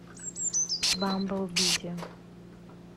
бамбл бизи